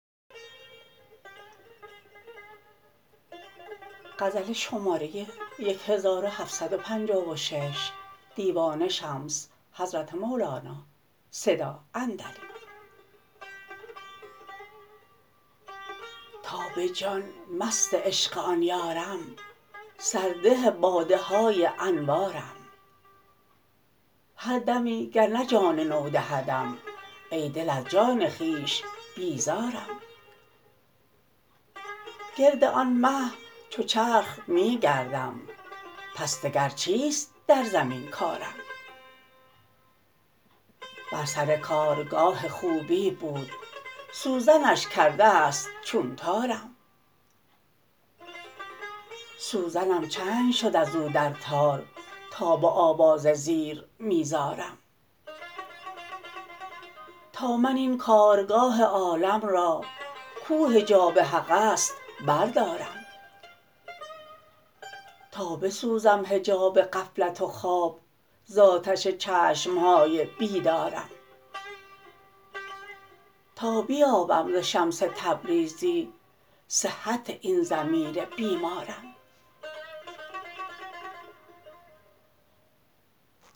تا به جان مست عشق آن یارم سرده باده های انوارم هر دمی گر نه جان نو دهدم ای دل از جان خویش بیزارم گرد آن مه چو چرخ می گردم پس دگر چیست در زمین کارم بر سر کارگاه خوبی بود سوزنش کرده ست چون تارم سوزنم چنگ شد از او در تار تا به آواز زیر می زارم تا من این کارگاه عالم را کو حجاب حقست بردارم تا بسوزم حجاب غفلت و خواب ز آتش چشم های بیدارم تا بیابم ز شمس تبریزی صحت این ضمیر بیمارم